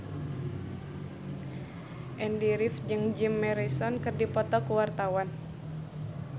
Andy rif jeung Jim Morrison keur dipoto ku wartawan